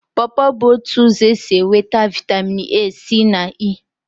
Pọpọ bụ otu ụzọ esi enweta Vitamin A, C na E.